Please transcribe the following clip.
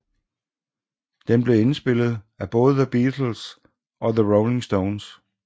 Den blev indspillet af både The Beatles og The Rolling Stones